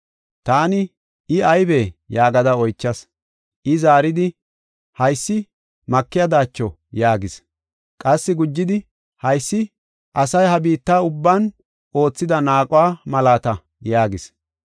Taani, “I aybee?” yaagada oychas. I zaaridi, “Haysi makiya daacho” yaagis. Qassi gujidi, “Haysi asay ha biitta ubban oothida naaquwa malaata” yaagis.